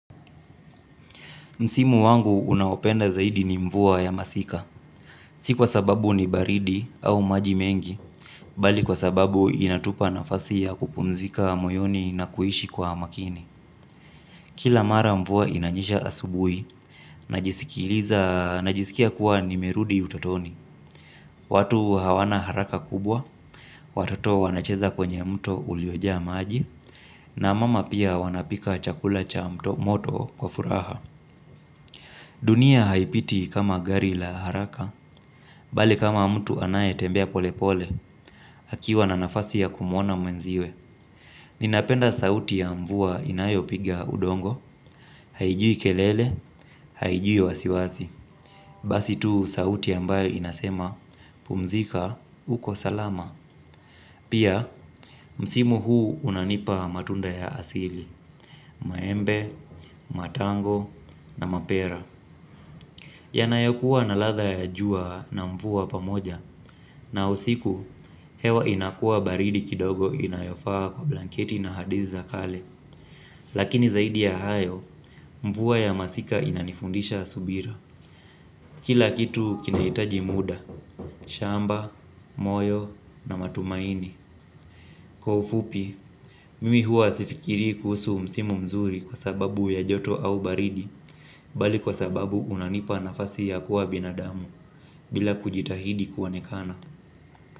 Msimu wangu unaopenda zaidi ni mvua ya masika. Si kwa sababu ni baridi au maji mengi, bali kwa sababu inatupa nafasi ya kupumzika moyoni na kuishi kwa makini. Kila mara mvua inanyesha asubuhi, najisikia kuwa nimerudi utotoni. Watu hawana haraka kubwa, watoto wanacheza kwenye mto ulioja maji, na mama pia wanapika chakula cha moto kwa furaha. Dunia haipiti kama gari la haraka, bali kama mtu anaye tembea pole pole, akiwa na nafasi ya kumuona mwenziwe. Ninapenda sauti ya mvua inayo piga udongo, haijui kelele, haijui wasiwasi. Basi tu sauti ambayo inasema, pumzika, uko salama. Pia, msimu huu unanipa matunda ya asili, maembe, matango, na mapera. Yanayokuwa na ladha ya jua na mvua pamoja na usiku hewa inakua baridi kidogo inayofaa kwa blanketi na hadiza kale. Lakini zaidi ya hayo mvua ya masika inanifundisha subira. Kila kitu kinahitaji muda, shamba, moyo na matumaini. Kwa ufupi, mimi huwa sifikiri kuhusu msimu mzuri kwa sababu ya joto au baridi bali kwa sababu unanipa nafasi ya kuwa binadamu bila kujitahidi kuonekana.